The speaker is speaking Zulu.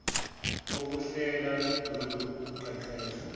bokuhlela lolu qeqesho